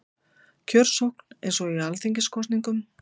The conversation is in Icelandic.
Kjörsókn eins og í alþingiskosningum